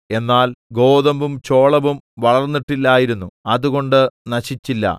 എന്നാൽ ഗോതമ്പും ചോളവും വളർന്നിട്ടില്ലായിരുന്നു അതുകൊണ്ട് നശിച്ചില്ല